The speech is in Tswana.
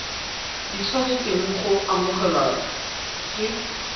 di tshwanetseng go amogelwa ke